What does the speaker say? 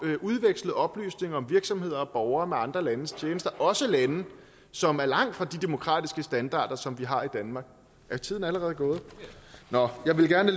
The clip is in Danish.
udvekslet oplysninger om virksomheder og borgere med andre landes tjenester også lande som er langt fra de demokratiske standarder som vi har i danmark er tiden allerede gået nå jeg ville gerne